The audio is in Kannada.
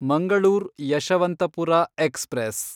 ಮಂಗಳೂರ್ ಯಶವಂತಪುರ ಎಕ್ಸ್‌ಪ್ರೆಸ್